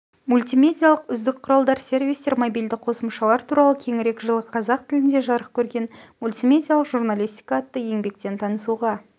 мультимедиалық үздік құралдар сервистер мобильді қосымшалар туралы кеңірек жылы қазақ тілінде жарық көрген мультимедиалық журналистика атты еңбектен танысуға